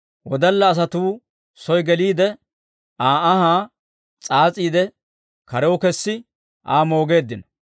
Wodalla asatuu soy geliide, Aa anhaa s'aas'iide, karew kesi Aa moogeeddino.